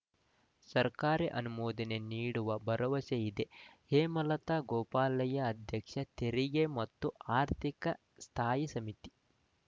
ಸರ್ಕಾರ ಅನುಮೋದನೆ ನೀಡುವ ಭರವಸೆ ಇದೆ ಹೇಮಲತಾ ಗೋಪಾಲಯ್ಯ ಅಧ್ಯಕ್ಷೆ ತೆರಿಗೆ ಮತ್ತು ಆರ್ಥಿಕ ಸ್ಥಾಯಿ ಸಮಿತಿ